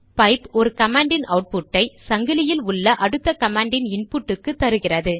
pipe ஒரு command இன் output ஐ சங்கிலியில் உள்ள அடுத்த கமாண்டின் இன்புட்டுக்கு தருகிறது